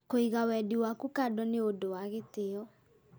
Kũiga wendi waku kando nĩ ũndũ wa gĩtĩyo